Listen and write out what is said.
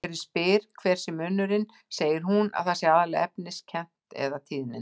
Þegar ég spyr hver munurinn sé segir hún að það sé aðallega efniskennt- eða tíðnin.